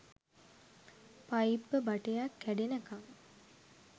පයිප්ප බටයක් කැඩෙනකන්